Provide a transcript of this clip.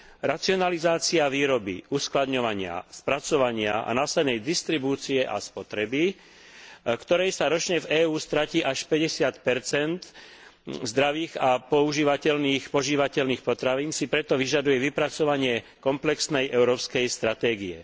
Racionalizácia výroby, uskladňovania, spracovania a následnej distribúcie a spotreby, ktorej sa ročne v EÚ stratí až 50 zdravých a používateľných, požívateľných potravín, si preto vyžaduje vypracovanie komplexnej európskej stratégie.